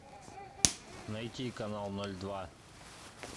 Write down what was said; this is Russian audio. найти канал ноль два